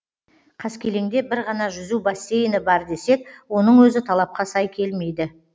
қаскелеңде бір ғана жүзу бассейні бар десек оның өзі талапқа сай келмейді